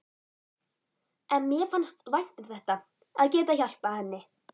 En mér fannst vænt um þetta, að geta hjálpað henni.